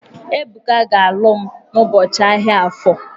Ebuka ga-alụ m n'ụbọchị ahia Afọ.